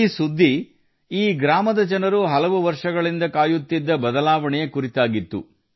ಈ ಸುದ್ದಿಯು ಈ ಗ್ರಾಮದ ಜನರು ಹಲವು ವರ್ಷಗಳಿಂದ ಕಾಯುತ್ತಿದ್ದ ಬದಲಾವಣೆಯ ಕುರಿತಾಗಿತ್ತು